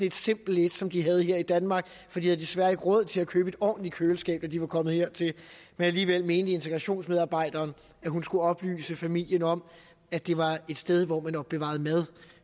et simpelt et som de havde her i danmark for de havde desværre ikke råd til at købe et ordentligt køleskab da de kom hertil men alligevel mente integrationsmedarbejderen at hun skulle oplyse familien om at det var et sted hvor man opbevarede mad